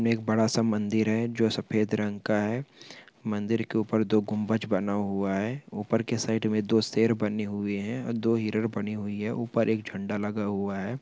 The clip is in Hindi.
एक बड़ा सा मंदिर है जो सफेद रंग का है। मंदिर के उपर दो गुंबज बना हुआ है। उपर के साइड में दो शेर बने हुए हैं दो हिरण बनी हुयी है उपर एक झन्डा लगा हुआ है ।